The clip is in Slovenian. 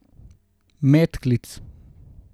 Medklic.